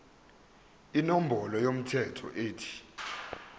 inombolo yomthelo ethi